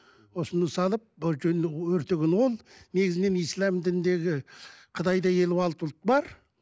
осыны салып өртеген ол негізінен ислам дініндегі қытайда елу алты ұлт бар